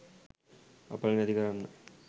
අපල නැති කරන්න